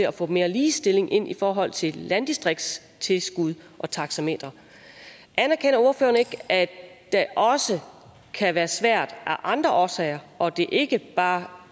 at få mere ligestilling ind i forhold til landdistriktstilskud og taxametre anerkender ordføreren ikke at det også kan være svært af andre årsager og at det ikke bare